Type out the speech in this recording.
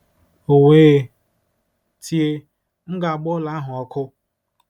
O wee tie, M ga-agba ụlọ ahụ ọkụ!